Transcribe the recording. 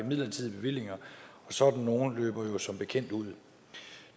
midlertidige bevillinger og sådan nogle løber jo som bekendt ud